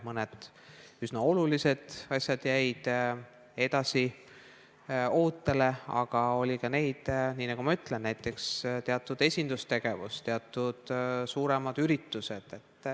Mõned üsna olulised asjad jäid ootele, aga – nagu ma juba ütlesin – ootele jäid ka näiteks teatud esindustegevused, teatud suuremad üritused.